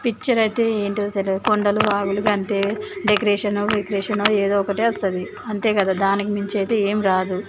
picture అయితే ఏంటో తెలియదు కొండలు వాగులుగా అంటే డెకరేషన్ వెకరేషన్ ఏదో ఒకటి వస్తది అంతే కదా దానికి మించి అయితే ఏమీ రాదు